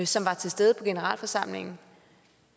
som var til stede på generalforsamlingen